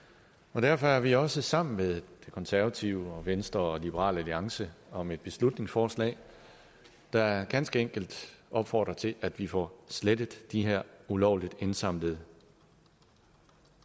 og derfor er vi også gået sammen med de konservative venstre og liberal alliance om et beslutningsforslag der ganske enkelt opfordrer til at vi får slettet de her ulovligt indsamlede